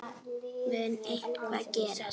Mun eitthvað gerast?